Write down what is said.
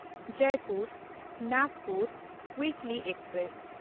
Jaipur Nagpur ᱩᱭᱤᱠᱞᱤ express